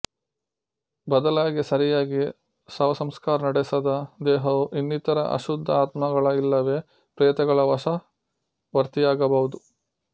ಬದಲಾಗಿ ಸರಿಯಾಗಿ ಶವಸಂಸ್ಕಾರ ನಡೆಸದ ದೇಹವು ಇನ್ನಿತರ ಅಶುದ್ಧ ಆತ್ಮಗಳ ಇಲ್ಲವೇ ಪ್ರೇತಗಳ ವಶವರ್ತಿಯಾಗಬಹುದು